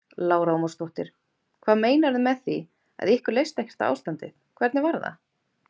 Lára Ómarsdóttir: Hvað meinarðu með því að ykkur leist ekkert á ástandið, hvernig var það?